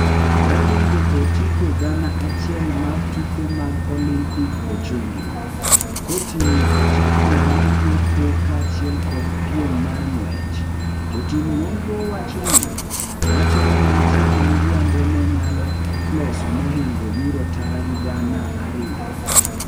Mahingo otiko gana achiel mar tuke mag olimpik ochungi, koting'o otiko mar yepo kaachiel kod peim mar ng'wech, jotim nonro wachoni wachore ni nitie miriambo ne nyalo loso mohingo yuro tara gi gana ariyo.